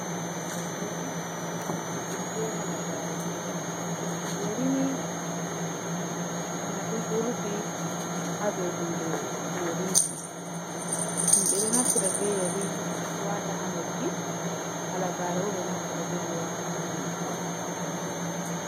Yeri be Halagare: Yerini nda dum ɗo rufi ha dou hunde yariji. Ɓeɗo naftira be yeri wata ha noppi, halagare bo ɓeɗo naftira be mai wata ha jungo.